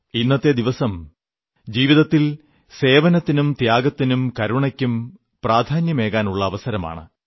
ഇന്നത്തെ ദിവസം ജീവിതത്തിൽ സേവനത്തിനും ത്യാഗത്തിനും കരുണയ്ക്കും പ്രാധാന്യമേകാനുള്ള അവസരമാണ്